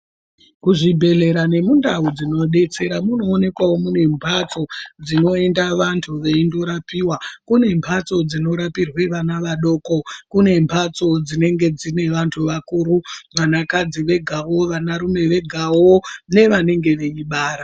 Kuzvibhedhlera nemundau dzinodetsera munowonekwawo munembatso dzinoyenda vantu veyindorapiwa. Kunembatso dzinorapirwe vana vadoko. Kunembatso dzinenge dzinevantu vakuru, vanakadzi vegawo, vanarume vegawo nevanenge veyibara.